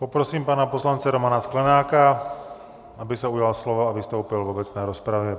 Poprosím pana poslance Romana Sklenáka, aby se ujal slova a vystoupil v obecné rozpravě.